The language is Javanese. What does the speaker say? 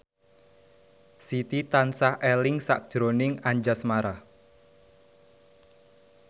Siti tansah eling sakjroning Anjasmara